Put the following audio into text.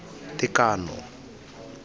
tekano